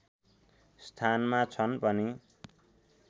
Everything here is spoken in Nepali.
स्थानमा छन् पनि